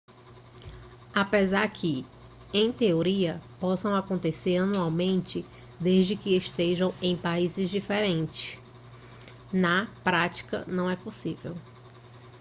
apesar que em teoria possam acontecer anualmente desde que estejam em países diferentes na prática não é possível